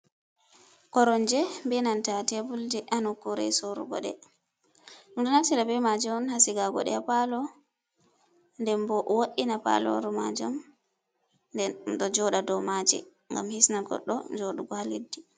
Koronje benanta tebulje hanokkure sorugo ɗe. Ɗo natira be maji on hasigago ɗe ha palo den bo wodiina paloru majum. Nde do joda dow maje gam hisna goddo jodugo ha leddi.